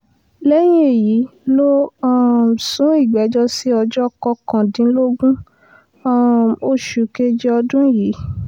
lẹ́yìn èyí ló um sún ìgbẹ́jọ́ sí ọjọ́ kọkàndínlógún um oṣù keje ọdún yìí